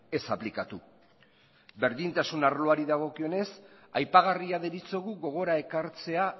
ez aplikatu berdintasun arloari dagokionez aipagarria deritzogu gogora ekartzea